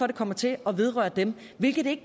det kommer til at vedrøre dem hvilket det